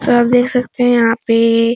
तो आप देख सकते हैं यहाँ पे एए --